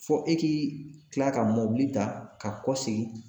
Fo e k'i kila ka mobili ta ka kɔsegin